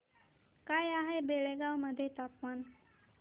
काय आहे बेळगाव मध्ये तापमान